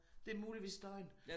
Det muligvis støjen